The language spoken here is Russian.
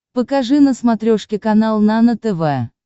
покажи на смотрешке канал нано тв